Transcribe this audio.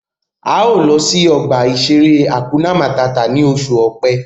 A ó lọ sí ọgbà-ìṣeré Hakuna Màtá ni oṣù Ọ̀pẹ